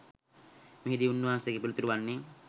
මෙහිදී උන්වහන්සේගේ පිළිතුර වන්නේ